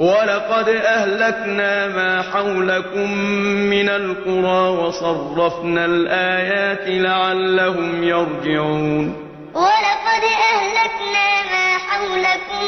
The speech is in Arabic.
وَلَقَدْ أَهْلَكْنَا مَا حَوْلَكُم مِّنَ الْقُرَىٰ وَصَرَّفْنَا الْآيَاتِ لَعَلَّهُمْ يَرْجِعُونَ وَلَقَدْ أَهْلَكْنَا مَا حَوْلَكُم